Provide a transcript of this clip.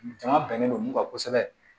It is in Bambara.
Jama bɛnnen don mun kan kosɛbɛ